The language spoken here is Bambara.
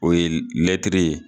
O ye ye.